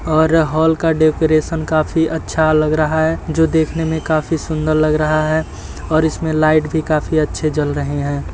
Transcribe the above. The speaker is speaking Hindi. और हॉल का डेकरैशन काफी अच्छा लग रहा है जो देखने मे काफी सुन्दर लग रहा है और इसमे लाइट भी काफी अच्छे जल रहे हैं।